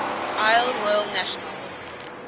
isle royale national